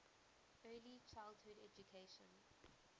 early childhood education